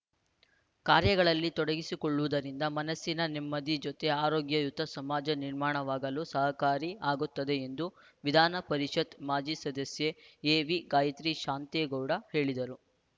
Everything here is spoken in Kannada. ಕಾರ್ಯಗಳಲ್ಲಿ ತೊಡಗಿಸಿಕೊಳ್ಳುವುದರಿಂದ ಮನಸ್ಸಿನ ನೆಮ್ಮದಿ ಜೊತೆ ಆರೋಗ್ಯಯುತ ಸಮಾಜ ನಿರ್ಮಾಣವಾಗಲು ಸಹಕಾರಿ ಆಗುತ್ತದೆ ಎಂದು ವಿಧಾನ ಪರಿಷತ್ತು ಮಾಜಿ ಸದಸ್ಯೆ ಎವಿ ಗಾಯತ್ರಿ ಶಾಂತೇಗೌಡ ಹೇಳಿದರು